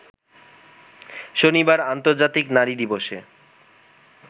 শনিবার আর্ন্তজাতিক নারী দিবসে